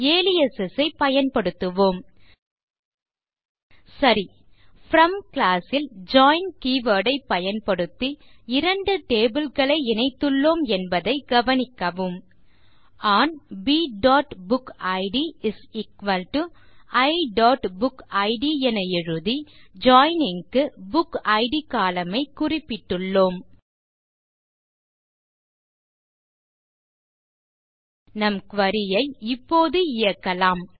aliases ஐப் பயன்படுத்துவோம் சரி ப்ரோம் க்ளாஸ் ல் ஜாயின் கீவர்ட் ஐப் பயன்படுத்தி இரண்டு டேபிள் களை இணைத்துள்ளோம் என்பதைக் கவனிக்கவும் ஒன் bபுக்கிட் iபுக்கிட் என எழுதி ஜாயினிங் க்கு புக்கிட் கோலம்ன் ஐ குறிப்பிட்டுள்ளோம் நம் குரி ஐ இப்போது இயக்கலாம்